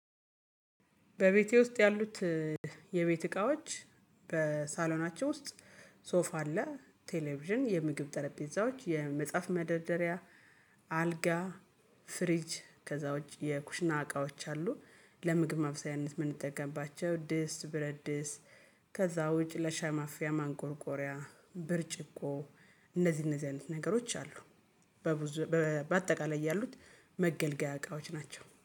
በቤቴ ውስጥ ያሉት የቤት እቃዎች በሳሎናቸው ውስጥ ሶፋ አለ፣ ቴሌቪዥን፣ የምግብ ጠረጴዛዎች፣ የመጽሐፍ መደርደሪያ አልጋ፣ ፍሪጅ ከዛ ውጪ የኩሽና እቃዎች አሉ። ለምግብ ማብሰያነት የምንጠቀምባቸው ድስጥ፣ ብረድስ ከዛ ውጪ ለሻሂ ማፊያ ማንቆርቆሪያ ብርጭቆ እነዚህ እነዚህ አይነት ነገሮች አሉ። በብዙ በአጠቃላይ ያሉት መገልገያ እቃዎች ናቸው።